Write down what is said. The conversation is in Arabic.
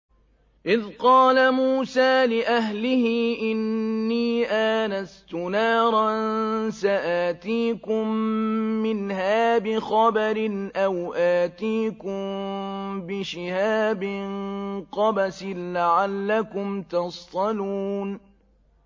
إِذْ قَالَ مُوسَىٰ لِأَهْلِهِ إِنِّي آنَسْتُ نَارًا سَآتِيكُم مِّنْهَا بِخَبَرٍ أَوْ آتِيكُم بِشِهَابٍ قَبَسٍ لَّعَلَّكُمْ تَصْطَلُونَ